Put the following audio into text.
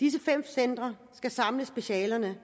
disse fem centre skal samle specialerne